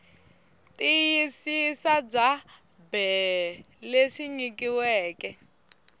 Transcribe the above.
tiyisisa bya bee lebyi nyikiweke